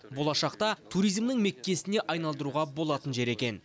болашақта туризмнің меккесіне айналдыруға болатын жер екен